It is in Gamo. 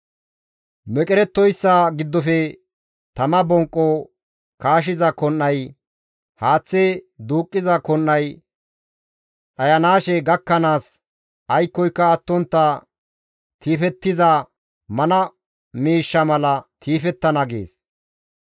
Meqerettoyssa giddofe tama bonqqo kaashiza kon7ay, haaththe duuqqiza kon7ay dhayanaashe gakkanaas, aykkoyka attontta tiifettiza mana miishsha mala tiifettana» gees.